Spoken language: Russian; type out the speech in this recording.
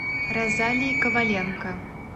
розалии коваленко